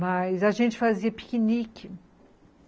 Mas a gente fazia piquenique.